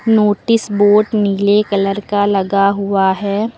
Notice board नीले colour का लगा हुआ है।